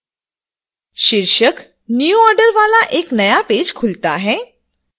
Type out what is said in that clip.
शीर्षक new order वाला एक नया पेज खुलता है